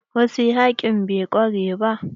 Wasu yaƙin bai ƙarewa.